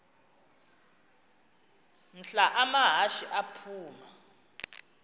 mhla amahashe aphuma